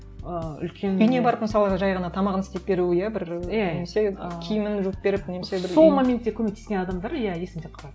ы үлкен үйіне барып мысалы жай ғана тамағын істеп беру иә бір немесе киімін жуып беріп немесе бір сол моментте көмектескен адамдар иә есінде қалады